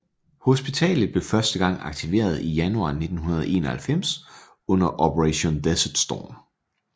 Hospitalet blev første gang aktiveret i januar 1991 under Operation Desert Storm